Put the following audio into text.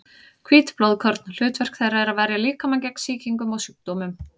Hvít blóðkorn: hlutverk þeirra er að verja líkamann gegn sýkingum og sjúkdómum.